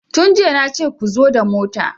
Tun jiya nace ku zo da mota!